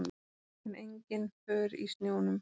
En engin för í snjónum.